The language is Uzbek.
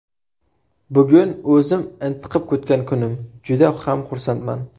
Bugun o‘zim intiqib kutgan kunim, juda ham xursandman.